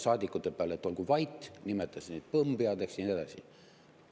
… saadikute peale, et olgu vait, nimetas neid põmmpeadeks ja nii edasi.